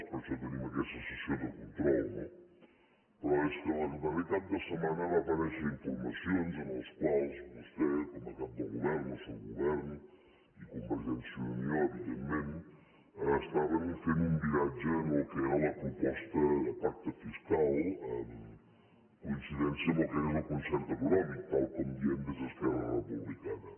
per això tenim aquesta sessió de control no però és que en el darrer cap de setmana van aparèixer informacions en les quals vostè com a cap del govern del seu govern i convergència i unió evidentment estaven fent un viratge en allò que era la proposta de pacte fiscal en coincidència amb el que és el concert econòmic tal com diem des d’esquerra republicana